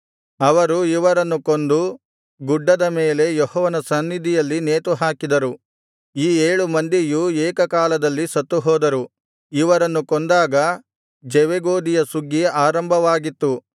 ಅವರು ಇವರನ್ನು ಕೊಂದು ಗುಡ್ಡದ ಮೇಲೆ ಯೆಹೋವನ ಸನ್ನಿಧಿಯಲ್ಲಿ ನೇತುಹಾಕಿದರು ಈ ಏಳು ಮಂದಿಯೂ ಏಕ ಕಾಲದಲ್ಲಿ ಸತ್ತುಹೋದರು ಇವರನ್ನು ಕೊಂದಾಗ ಜವೆಗೋದಿಯ ಸುಗ್ಗಿ ಆರಂಭವಾಗಿತ್ತು